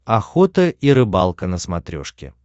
охота и рыбалка на смотрешке